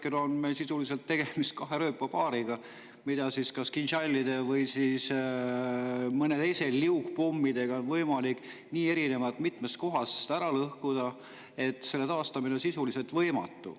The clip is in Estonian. Praegu on meil sisuliselt tegemist kahe rööpapaariga, mida kas Kinžalide või millegi muuga, näiteks liugpommidega, on võimalik nii mitmes kohas ära lõhkuda, et taastamine on sisuliselt võimatu.